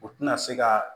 U tɛna se ka